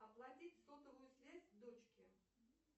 оплатить сотовую связь дочке